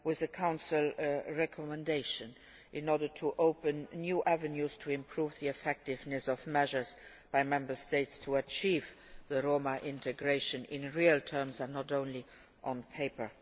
a Council Recommendation in order to open new avenues to improve the effectiveness of measures by Member States to achieve Roma integration in real terms and not just on paper.